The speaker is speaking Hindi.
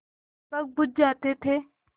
दीपक बुझ जाते थे